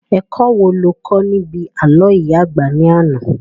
Ẹ̀kọ́ wo lo kọ́ níbi àlọ́ ìyá àgbà ní àná?